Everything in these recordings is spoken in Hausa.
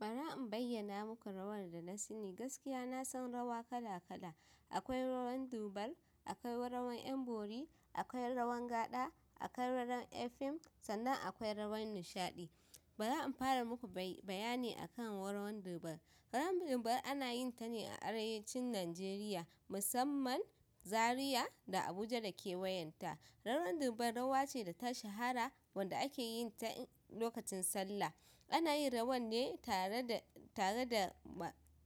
Bara in bayyana muku rawar da na sani. Gaskiya na san rawa kala kala. Akwai rawan Dubar, akwai rawan 'yan bori, akwai rawan gaɗa akwai rawan 'yan fim sannan akwai rawan nishaɗi. Bara in fara muku bayani akan wara wan Dubar. Rawan Dubar ana yin ta ne a arewacin Najeriya, musamman Zariya da Abuja da ke wayanta. Rawan Dubar rawa ce da ta shahara wanda ake yin ta lokacin sallah. Ana yin rawan ne tare da tare da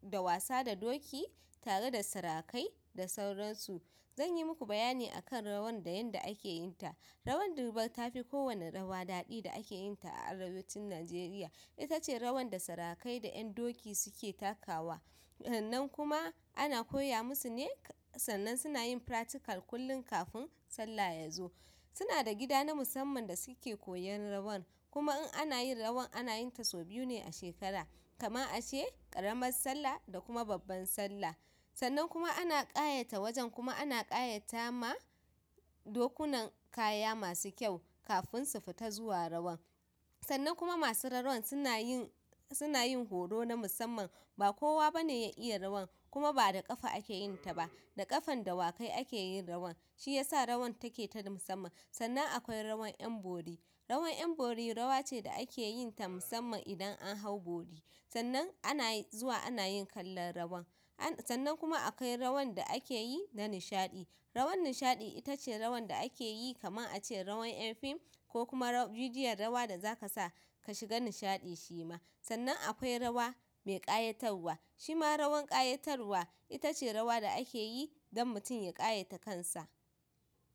da wasa da doki, tare da sarakai da sauransu. Zan yi muku bayani akan rawan da yanda ake yin ta. Rawan dubar tafi kowane rawa daɗi da ake yinta a arewacin Nigeriya ita ce rawan da sarakai da 'yan doki suke takawa. Nan kuma ana koya musu ne, sannan suna yin faratikal kullum kafin Sallah ya zo. Suna da gida na musamman da suke koyan rawan. Kuma in ana yin rawan, ana yin ta sau biyu ne a shekara, kaman a ce ƙaramar Sallah da kuma babbar Sallah. Sannan kuma ana ƙayata wajen kuma ana ƙayata ma dokunan kaya masu kyau kafin su fita zuwa rawan. Sannan kuma masu rawan suna yin suna yin horo na musamman. Ba kowa ba ne ya iya rawan kuma ba da ƙafa ake yin ta ba. Da ƙafan dawakai ake yin rawan. Shi ya sa rawan take ta musamman. Sannan akwai rawan 'yan bori. Rawar 'yan bori rawa ce da ake yin ta musamman idan an hau bori. Sannan ana zuwa ana yin kallon rawan. Sannan kuma akwai rawan da ake yi na nishaɗi. Rawar nishaɗi ita ce rawan da ake yi kaman a ce rawan 'yan fim ko kuma bidiyon rawa da za ka sa ka shiga nishaɗi shi ma. Sannan akwai rawa mai ƙayatarwa. Shi ma rawan ƙayatarwa ita ce rawa da ake yi don mutum ya ƙayata kansa.